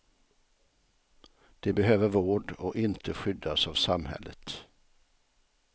De behöver vård och inte skyddas av samhället.